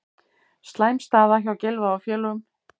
Slæm staða hjá Gylfa og félögum